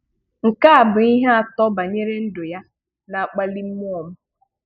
Nke a bụ ihe atọ banyere ndụ ya na-akpali mmụọ m.